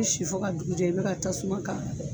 Bɛ si fɔ ka dugu jɛ i bɛ ka tasuma k'a la